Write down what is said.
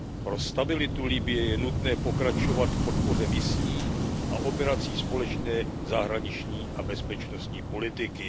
Pro stabilitu Libye je nutné pokračovat v podpoře misí a operací společné zahraniční a bezpečnostní politiky.